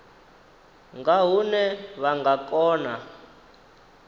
nga hune vha nga kona